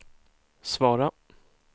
svara